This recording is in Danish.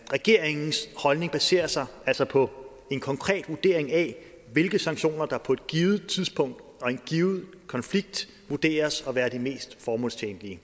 regeringens holdning baserer sig altså på en konkret vurdering af hvilke sanktioner der på et givet tidspunkt og i en given konflikt vurderes at være de mest formålstjenlige i